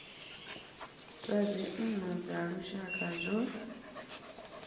zwa dzinnu dza lushaka zwo